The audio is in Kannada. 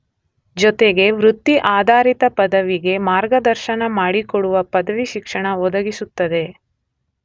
ಜೊತೆಗೆ ವೃತ್ತಿ ಆಧಾರಿತ ಪದವಿಗೆ ಮಾರ್ಗದರ್ಶನ ಮಾಡಿಕೊಡುವ ಪದವಿ ಶಿಕ್ಷಣ ಒದಗಿಸುತ್ತದೆ.